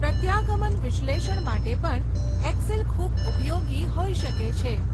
પ્રત્યાગમન વિશ્લેષણ માટે પણ એક્સેલ ખૂબ ઉપયોગી હોઈ શકે છે.